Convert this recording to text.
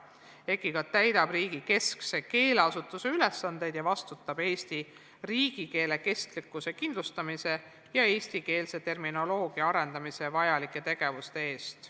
EKI täidab ka riigi keskse keeleasutuse ülesandeid ning vastutab Eesti riigikeele kestlikkuse kindlustamise ja eestikeelse terminoloogia arendamiseks vajalike tegevuste eest.